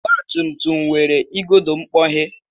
Ọgbatumtum nwere igodo mkpọghe